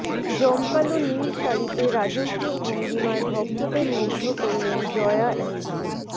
জমকালো নীল শাড়িতে রাজকীয় ভঙ্গিমায় ভক্তদের মুগ্ধ করলেন জয়া এহসান